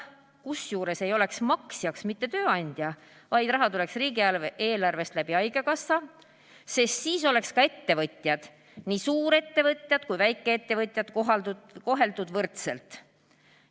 Kusjuures maksjaks ei oleks mitte tööandja, vaid raha tuleks riigieelarvest läbi haigekassa, sest siis oleks ka ettevõtjad – nii suurettevõtjad kui ka väikeettevõtjad – koheldud võrdselt.